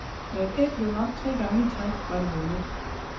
Når et æg blev ramt tre gange i træk, var det vundet.